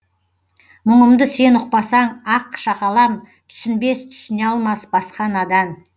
мұңымды сен ұқпасаң ақ шакалам түсінбес түсіне алмас басқа надан